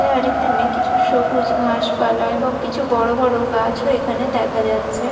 আর এখানে কিছু সবুজ ঘাসপালা এবং কিছু বড়বড় গাছও এখানে দেখা যাচ্ছে।